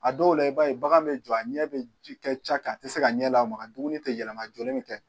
A dɔw la i b'a ye bagan bɛ jɔ a ɲɛ bɛ kɛ ca ka a tɛ se k'a ɲɛ lamaga dumuni tɛ yɛlɛma a jɔlen mɛ kɛ.